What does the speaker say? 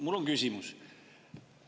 Mul on küsimus.